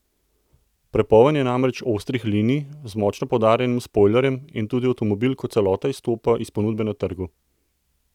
Prepoln je namreč ostrih linij, z močno poudarjenim spojlerjem, in tudi avtomobil kot celota izstopa iz ponudbe na trgu.